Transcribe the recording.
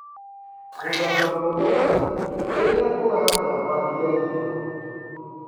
Gũthamba moko kaingĩ rĩrĩa ũratambagia irio.